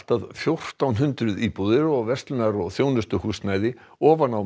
að fjórtán hundruð íbúðir og verslunar og þjónustuhúsnæði ofan á